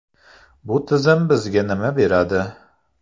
Bu tizim bizga nima beradi?.